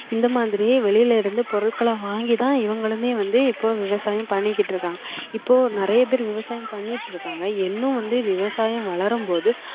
இந்த மாதிரியே வெளியில இருந்து பொருட்களை வாங்கி தான் இவங்களுமே வந்து இப்போ விவசாயம் பண்ணிக்கிட்டு இருக்காங்க இப்போ நிறைய பேர் விவசாயம் பண்ணிட்டு இருக்காங்க இன்னும் வந்து விவசாயம் வளரும் போது